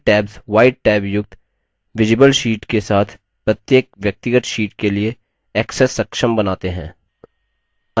यह tabs white tab युक्त visible sheet के साथ प्रत्येक व्यक्तिगत sheet के लिए access सक्षम बनाते हैं